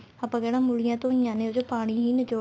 ਆਪਾਂ ਕਿਹੜਾ ਮੂਲੀਆਂ ਤੋਂ ਈ ਆ ਨੇ ਆ ਉਸ ਚ ਪਾਣੀ ਹੀ